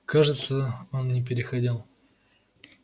кажется он не переходил